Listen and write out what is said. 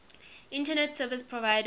internet service provider